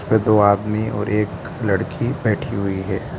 ये दो आदमी और एक लड़की बैठी हुई है।